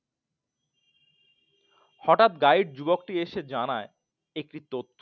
হঠাৎ গাইড যুবকটি এসে জানায় একটি তথ্য।